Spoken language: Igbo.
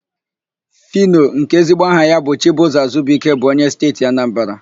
Fino, nke ezigbo aha ya bụ Chibụzọ Azubuike bụ onye Steeti Anambara.